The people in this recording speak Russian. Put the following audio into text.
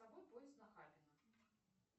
поезд нахабино